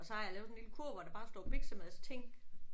Og så har jeg lavet sådan en lille kurv hvor der bare står biksemadsting